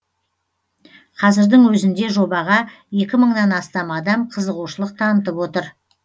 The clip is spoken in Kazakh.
қазірдің өзінде жобаға екі мыңнан астам адам қызығушылық танытып отыр